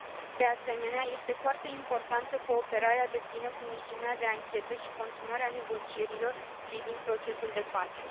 De asemenea, este foarte importantă cooperarea deplină cu misiunea de anchetă și continuarea negocierilor privind procesul de pace.